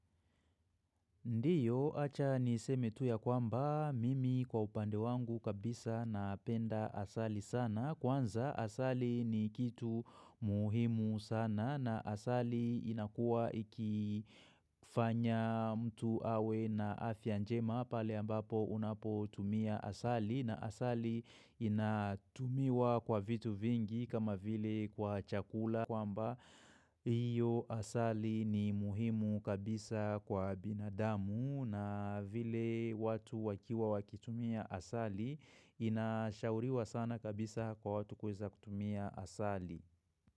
Ndiyo, acha niseme tuya kwamba, mimi kwa upande wangu kabisa napenda asali sana. Kwanza asali ni kitu muhimu sana na asali inakua ikifanya mtu awe na afyanjema pale ambapo unapo tumia asali na asali inatumiwa kwa vitu vingi kama vile kwa chakula. Kwa mba hiyo asali ni muhimu kabisa kwa binadamu na vile watu wakiwa wakitumia asali inashauriwa sana kabisa kwa watu kweza kutumia asali.